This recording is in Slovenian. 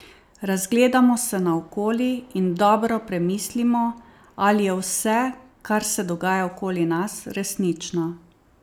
Razgledamo se naokoli in dobro premislimo, ali je vse, kar se dogaja okoli nas, resnično.